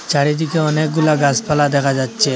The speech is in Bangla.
চারিদিকে অনেকগুলা গাছপালা দেখা যাচ্ছে।